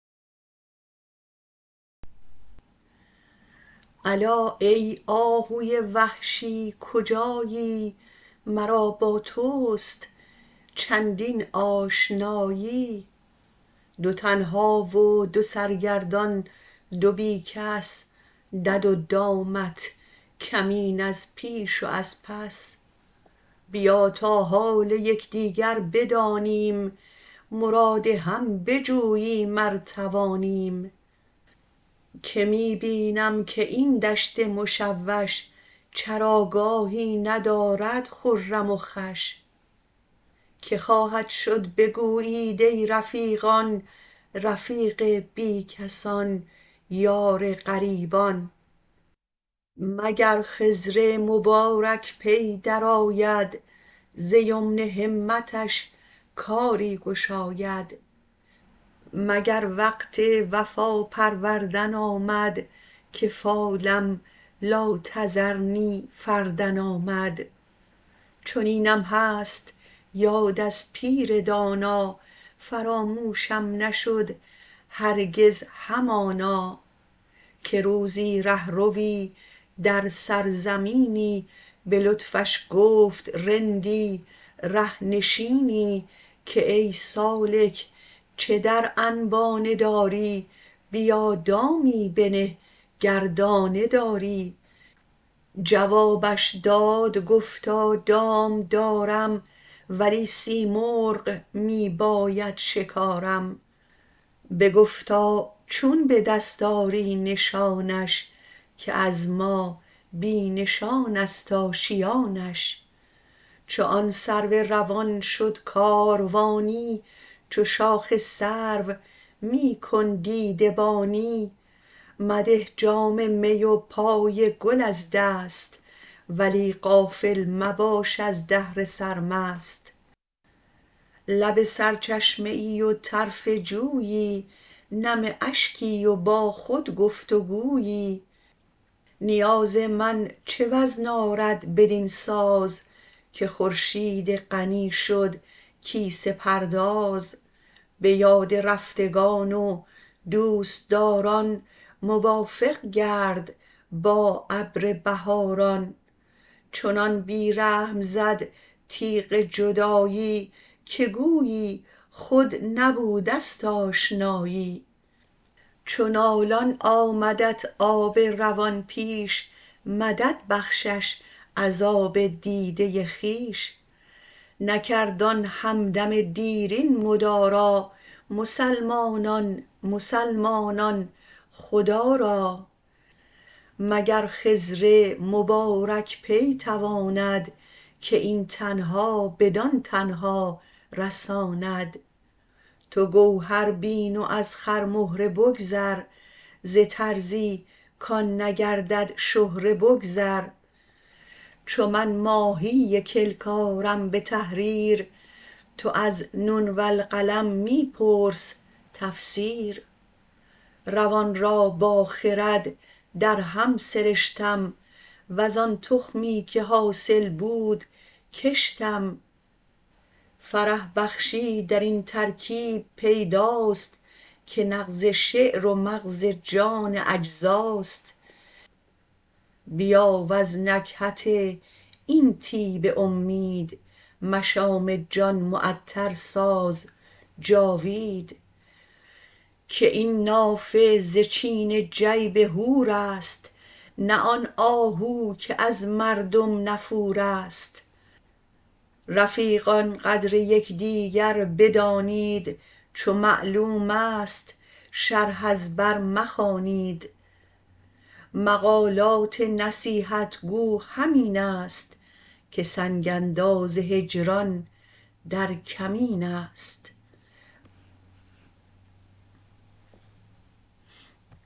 الا ای آهوی وحشی کجایی مرا با توست چندین آشنایی دو تنها و دو سرگردان دو بی کس دد و دامت کمین از پیش و از پس بیا تا حال یک دیگر بدانیم مراد هم بجوییم ار توانیم که می بینم که این دشت مشوش چراگاهی ندارد خرم و خوش که خواهد شد بگویید ای رفیقان رفیق بی کسان یار غریبان مگر خضر مبارک پی درآید ز یمن همتش کاری گشاید مگر وقت وفا پروردن آمد که فالم لا تذرنی فردا آمد چنینم هست یاد از پیر دانا فراموشم نشد هرگز همانا که روزی ره روی در سرزمینی به لطفش گفت رندی ره نشینی که ای سالک چه در انبانه داری بیا دامی بنه گر دانه داری جوابش داد گفتا دام دارم ولی سیمرغ می باید شکارم بگفتا چون به دست آری نشانش که از ما بی نشان است آشیانش چو آن سرو روان شد کاروانی چو شاخ سرو می کن دیده بانی مده جام می و پای گل از دست ولی غافل مباش از دهر سرمست لب سرچشمه ای و طرف جویی نم اشکی و با خود گفت و گویی نیاز من چه وزن آرد بدین ساز که خورشید غنی شد کیسه پرداز به یاد رفتگان و دوست داران موافق گرد با ابر بهاران چنان بی رحم زد تیغ جدایی که گویی خود نبوده است آشنایی چو نالان آمدت آب روان پیش مدد بخشش از آب دیده خویش نکرد آن هم دم دیرین مدارا مسلمانان مسلمانان خدا را مگر خضر مبارک پی تواند که این تنها بدان تنها رساند تو گوهر بین و از خرمهره بگذر ز طرزی کآن نگردد شهره بگذر چو من ماهی کلک آرم به تحریر تو از نون والقلم می پرس تفسیر روان را با خرد درهم سرشتم وز آن تخمی که حاصل بود کشتم فرح بخشی درین ترکیب پیداست که نغز شعر و مغز جان اجزاست بیا وز نکهت این طیب امید مشام جان معطر ساز جاوید که این نافه ز چین جیب حور است نه آن آهو که از مردم نفور است رفیقان قدر یک دیگر بدانید چو معلوم است شرح از بر مخوانید مقالات نصیحت گو همین است که سنگ انداز هجران در کمین است